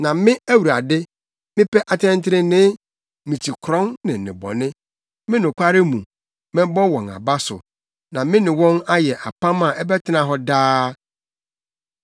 “Na me Awurade, mepɛ atɛntrenee. Mikyi korɔn ne nnebɔne. Me nokware mu, mɛbɔ wɔn aba so na me ne wɔn ayɛ apam a ɛbɛtena hɔ daa.